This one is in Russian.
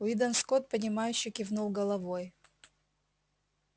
уидон скотт понимающе кивнул головой